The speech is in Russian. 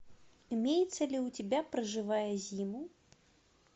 имеется ли у тебя проживая зиму